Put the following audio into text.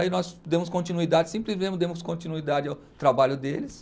Aí nós demos continuidade, sempre demos continuidade ao trabalho deles.